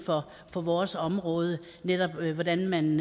for vores område netop hvordan man